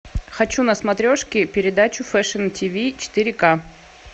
хочу на смотрешке передачу фэшн тв четыре к